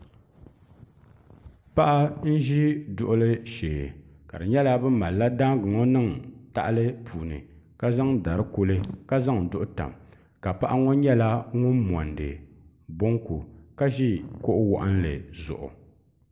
Paɣa n zi duɣuli shɛɛ ka di nyɛla bi malila daanga ŋɔ niŋ tahali puuni ka zaŋ dari kuli ka zaŋ duɣu tam ka paɣa ŋɔ nyɛla ŋuni monidi bonku ka zi kuɣu wɔɣinnli zuɣu.